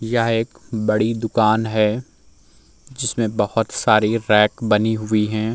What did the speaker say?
यह एक बड़ी दुकान है जिसमें बहोत सारी रैक बनी हुई हैं।